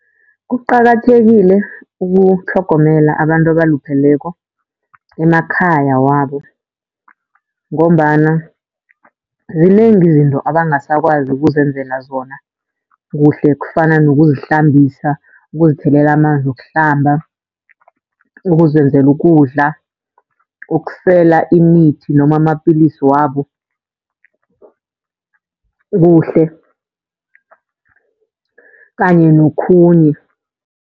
Kuqakathekile ukutlhogomela abantu abalupheleko emakhaya wabo, ngombana zinengi izinto abangasakwazi ukuzenzela zona kuhle kufana nokuzihlambisa, ukuzithelela amanzi wokuhlamba. Ukuzenzela ukudla, ukusela imithi noma amapilisi wabo kuhle kanye nokhunye.